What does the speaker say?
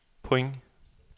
point